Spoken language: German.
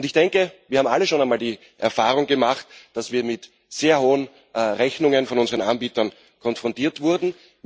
Und ich denke, wir haben alle schon einmal die Erfahrung gemacht, dass wir mit sehr hohen Rechnungen von unseren Anbietern konfrontiert wurden.